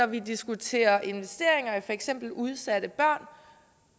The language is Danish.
vi diskuterer investeringer i for eksempel udsatte børn